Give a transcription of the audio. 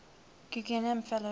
guggenheim fellows